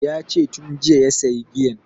Yace tun jiya ya sayi giyan